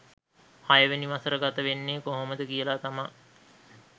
හයවෙනි වසර ගත වෙන්නේ කොහොමද කියලා තමා